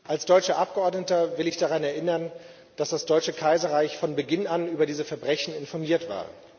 Als deutscher Abgeordneter will ich daran erinnern, dass das Deutsche Kaiserreich von Beginn an über diese Verbrechen informiert war.